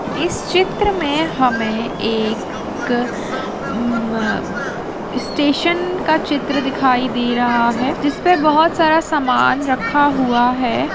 इस चित्र मे हमे एक अ म म स्टेशन का चित्र दिखाई दे रहा है जिसपे बहुत सारा समान रखा हुआ है।